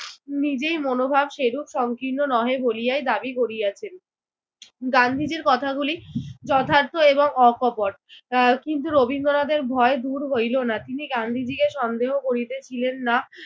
নিজের মনোভাব সেরূপ সংকীর্ণ নহে বলিয়াই দাবি করিয়াছেন। গান্ধীজির কথাগুলি যথার্থ এবং অকপট। আহ কিন্তু রবীন্দ্রনাথের ভয় দূর হইল না। তিনি গান্ধীজিকে সন্দেহ করিতেছিলেন না।